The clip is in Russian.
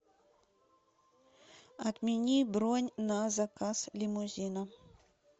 отмени бронь на заказ лимузина